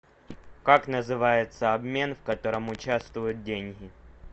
как называется обмен в котором участвуют деньги